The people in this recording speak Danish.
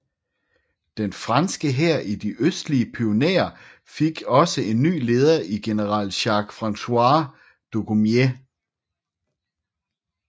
Den franske hær i de østlige Pyrenæer fik også en ny leder i general Jacques François Dugommier